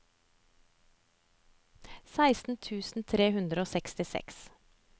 seksten tusen tre hundre og sekstiseks